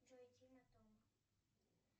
джой тима тома